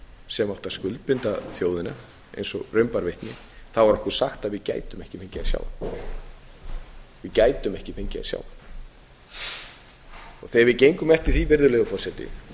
sem átti að skuldbinda þjóðina eins og raun bar vitni var okkur sagt að við gætum ekki fengið að sjá hann við gætum ekki fengið að sjá hann þegar við gengum eftir því virðulegur forseti